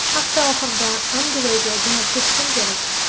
Hafta oxirida Angliyaga jo‘nab ketishim kerak.